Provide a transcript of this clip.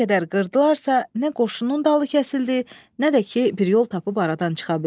Nə qədər qırdılarsa, nə qoşunun dalı kəsildi, nə də ki, bir yol tapıb aradan çıxa bildilər.